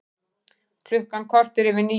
Klukkan korter yfir níu